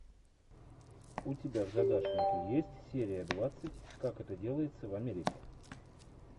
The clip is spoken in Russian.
у тебя в загашнике есть серия двадцать как это делается в америке